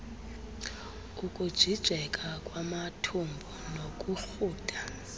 ukujijeka kwamathumbu nokurhuda